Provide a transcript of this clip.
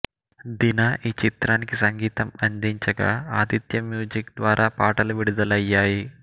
దిన ఈ చిత్రానికి సంగీతం అందించగా ఆదిత్య మ్యూజిక్ ద్వారా పాటలు విడుదలయ్యాయి